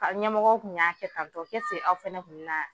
Ka ɲɛmɔgɔw kun y'a kɛ tan tɔ kɛ se aw fɛnɛ kun bɛ na.